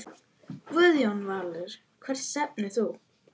Guðjón Valur Hvert stefnir þú?